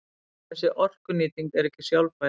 Þessi orkunýting er ekki sjálfbær.